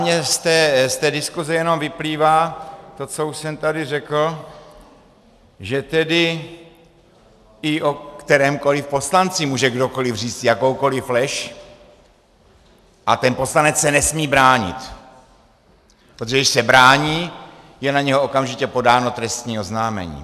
Mně z té diskuse jenom vyplývá to, co už jsem tady řekl, že tedy i o kterémkoliv poslanci může kdokoliv říct jakoukoliv lež a ten poslanec se nesmí bránit, protože když se brání, je na něho okamžitě podáno trestní oznámení.